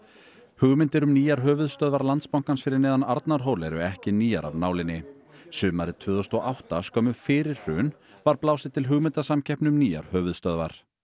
hugmyndir um nýjar höfuðstöðvar Landsbankans fyrir neðan Arnarhól eru ekki nýjar af nálinni sumarið tvö þúsund og átta skömmu fyrir hrun var blásið til hugmyndasamkeppni um nýjar höfuðstöðvar